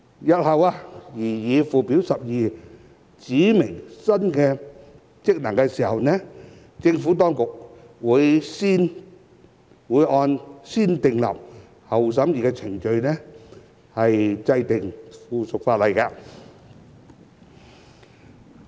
日後在擬議附表12指明新職能時，政府當局會按"先訂立後審議"的程序制定附屬法例。